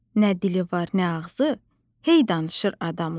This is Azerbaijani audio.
Nə dili var, nə ağzı, hey danışır adamla.